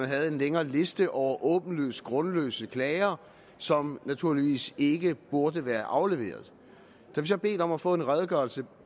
havde en længere liste over åbenlyst grundløse klager som naturligvis ikke burde være afleveret da vi så bad om at få en redegørelse